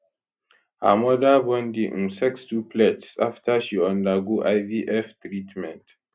her mother born di um sextuplets after she undergo ivf treatment